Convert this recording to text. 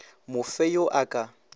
mo fe yo a ka